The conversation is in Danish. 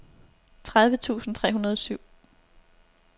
tredive tusind tre hundrede og syv